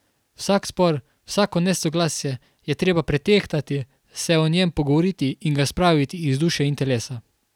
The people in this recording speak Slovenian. Vsak spor, vsako nesoglasje je treba pretehtati, se o njem pogovoriti in ga spraviti iz duše in telesa.